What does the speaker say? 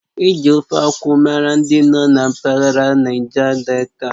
Eji Ofe akwụ mara ndị nọ na mpaghara Naija Delta